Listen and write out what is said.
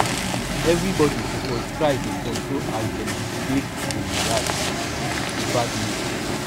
everybodi suppose try dey control as dem dey take react to bad news